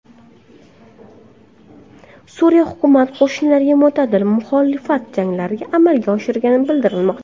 Suriya hukumat qo‘shinlariga mo‘tadil muxolifat jangarilari amalga oshirgani bildirilmoqda.